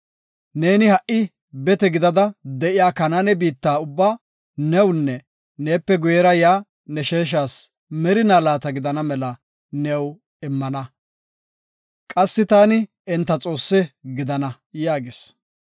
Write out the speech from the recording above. Neeni ha77i bete gidada de7iya Kanaane biitta ubba newunne neepe guyera yaa ne sheeshas merina laata gidana mela new immana; qassi taani enta Xoossa gidana” yaagis.